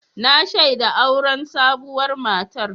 Na shaida auren sabuwar matar.